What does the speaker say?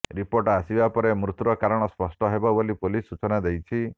report ଆସିବା ପରେ ମୃତ୍ୟୁର କାରଣ ସ୍ପଷ୍ଟ ହେବ ବୋଲି ପୁଲିସ ସୂଚନା ଦେଇଛି